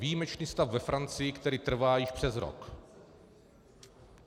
Výjimečný stav ve Francii, který trvá již přes rok.